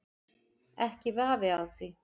Ekki vafi á því.